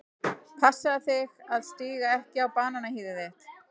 Passaðu þig að stíga ekki á bananahýðið þitt.